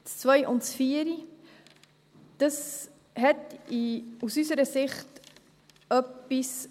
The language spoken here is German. Die Planungserklärungen 2 und 4 haben aus unserer Sicht etwas.